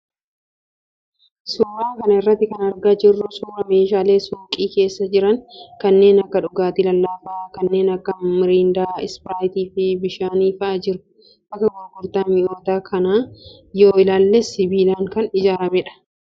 Suuraa kana irraa kan argaa jirru suuraa meeshaalee suuqii keessa jiran kanneen akka dhugaatii lallaafaa kanneen akka mirindaa, ispiraayitii fi bishaanii fa'aa jiru. Bakka gurgurtaa mi'oota kanaa yoo ilaalles sibiilaan kan ijaaramedha.